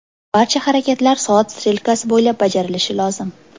Barcha harakatlar soat strelkasi bo‘ylab bajarilishi lozim.